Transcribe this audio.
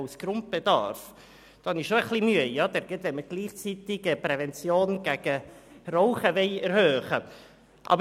Damit bekunde ich schon ein wenig Mühe, zumal wir gleichzeitig die Prävention gegen das Rauchen verstärken wollen.